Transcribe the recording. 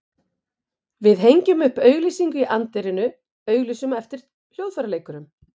Við hengjum upp auglýsingu í anddyrinu, auglýsum eftir hljóðfæraleikurum.